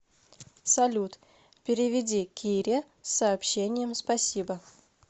салют переведи кире с сообщением спасибо